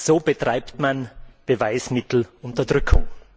So betreibt man Beweismittelunterdrückung!